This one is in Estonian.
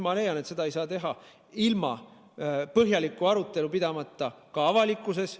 Ma leian, et seda ei saa teha ilma põhjalikku arutelu pidamata ka avalikkuses.